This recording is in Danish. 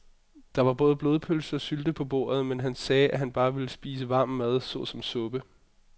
Der var både blodpølse og sylte på bordet, men han sagde, at han bare ville spise varm mad såsom suppe.